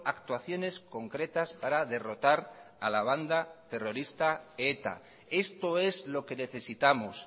actuaciones concretas para derrotar a la banda terrorista eta esto es lo que necesitamos